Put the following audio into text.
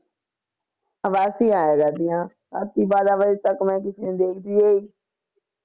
ਉਬਾਸੀਆਂ ਆਈ ਜਾਂਦੀਆਂ ਰਾਤੀ ਬਾਰਾਂ ਵਜੇ ਤਕ ਮੈਂ ਦੇਖਦੀ ਹੋਈ